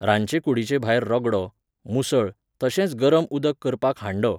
रांदचे कुडीचे भायर रगडो, मुसळ, तशेंच गरम उदक करपाक हांडो